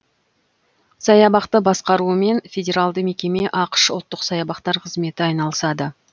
саябақты басқаруымен федералды мекеме ақш ұлттық саябақтар қызметі айналысады